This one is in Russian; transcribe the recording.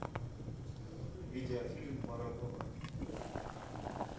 видеофильм марадона